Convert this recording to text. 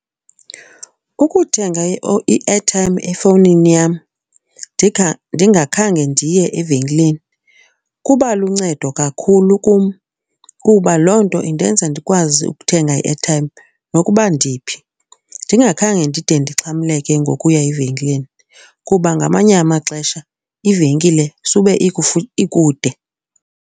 Ukuthenga i-airtime efowunini yam ndingakhange ndiye evenkileni kubaluncedo kakhulu kum kuba loo nto indenza ndikwazi ukuthenga i-airtime nokuba ndiphi ndingakhange ndide ndixhamleke ngokuya evenkileni. Kuba ngamanye amaxesha ivenkile sube ikude.